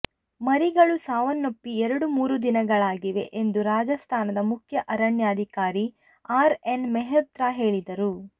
ಮರಿಗಳು ಸಾವನ್ನಪ್ಪಿ ಎರಡು ಮೂರುದಿನಗಳಾಗಿವೆ ಎಂದು ರಾಜಸ್ಥಾನದ ಮುಖ್ಯ ಅರಣ್ಯಾಧಿಕಾರಿ ಆರ್ ಎನ್ ಮೆಹ್ರೋತ್ರ ಹೇಳಿದರು